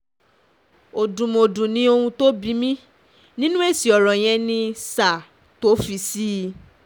òdùmọ̀dù ni ohun tó bí mi um nínú nínú èsì ọ̀rọ̀ yẹn ní um sir tó o fi ṣí i